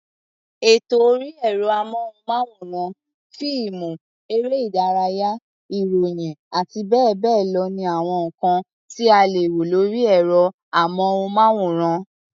Ètò orí ẹ̀rọ-amóhùnmáwòrán, fíìmù, eré-ìdánilárayá, ìròyìn àti bẹ́ẹ̀ bẹ́ẹ̀ lọ ni àwọn nǹkan tí a lè wo lórí ẹ̀rọ-amóhùnmáwòrán.